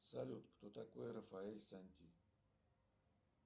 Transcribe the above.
салют кто такой рафаэль санти